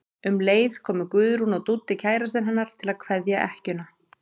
Um leið komu Guðrún og Dúddi kærastinn hennar til að kveðja ekkjuna.